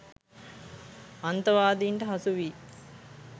අන්තවාදීන්ට හසු වී